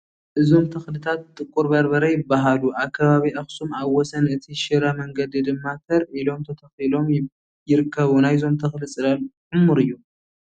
እዞም ተኽልታት ጥቁር በርበረ ይበሃሉ፡፡ ኣብ ከባቢ ኣኽሱም ኣብ ወሰን እቲ ናይ ሽረ መንገዲ ድማ ተር ኢሎም ተተኺሎም ይርከቡ፡፡ ናይዞም ተኽሊ ፅላል ዕሙር እዩ፡፡